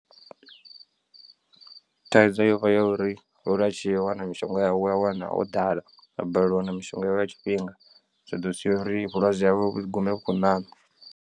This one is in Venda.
Thaidzo yo vha ya uri ori atshi ya a wana mishonga yawe a wa wana ho ḓala a balelwa u wana mishonga yawe nga tshifhinga zwi ḓo sia uri vhulwadze hawe vhu gume vhu khou ṋaṋa.